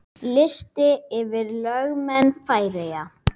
Listi yfir lögmenn Færeyja